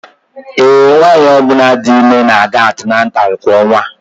Ee, nwanyị ọ bụla dị ime na-aga atinatalu kwa ọnwa